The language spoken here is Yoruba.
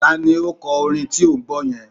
Ta ni ó kọ orin tí ò ń gbọ́ yẹn?